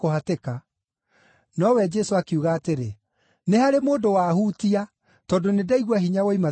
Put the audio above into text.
Nowe Jesũ akiuga atĩrĩ, “Nĩ harĩ mũndũ waahutia, tondũ nĩndaigua hinya woima thĩinĩ wakwa.”